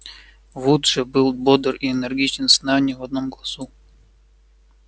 вуд же был бодр и энергичен сна ни в одном глазу